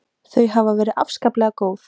Þau hafi verið afskaplega góð.